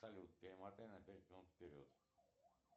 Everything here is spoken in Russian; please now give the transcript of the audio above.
салют перемотай на пять минут вперед